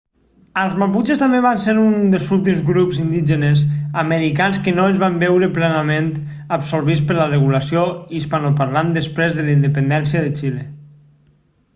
els maputxes també van ser un dels últims grups indígenes americans que no es van veure plenament absorbits per la regulació hispanoparlant després de la independència de xile